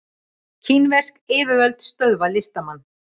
Kínversk yfirvöld stöðva listamann